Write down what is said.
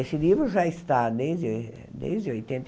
Esse livro já está desde desde oitenta e.